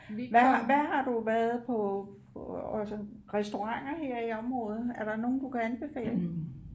Hvad har hvad har du været på på altså restauranter her i området er der nogle du kan anbefale